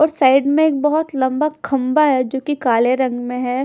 और साइड में एक बहोत लम्बा खम्बा है जोकि काले रंग में है।